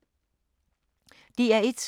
DR1